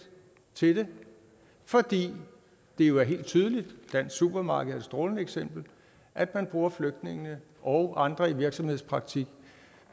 til dem fordi det jo er helt tydeligt dansk supermarked er et strålende eksempel at man bruger flygtninge og andre i virksomhedspraktik